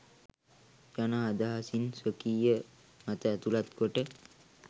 යන අදහසින් ස්වකීය මත ඇතුළත් කොට